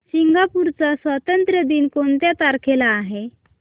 Singapore चा स्वातंत्र्य दिन कोणत्या तारखेला आहे